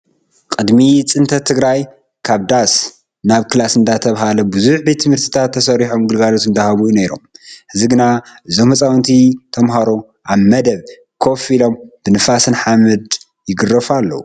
ቅድሚ ፅንፈት ትግራይ ካብ ዳስ ናብ ክላስ እንዳተባሃለ ብዙሓት ቤት ትምህርትታት ተሰሪሖም ግልጋሎት እንዳሃቡ ነይሮም። ሕዚ ግና እዞም ህፃውቲ ተማሃሮ ኣብ መደብ ኮፍ ኢሎም ብንፋስን ሓመድ ይግረፉ ኣለው።